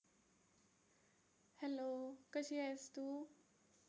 hello कशी आहेस तू?